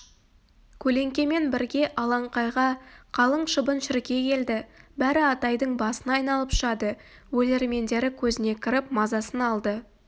көлеңкемен бірге алаңқайға қалың шыбын-шіркей келді бәрі атайдың басын айналып ұшады өлермендері көзіне кіріп мазасын алды